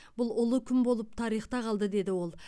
бұл ұлы күн болып тарихта қалды деді ол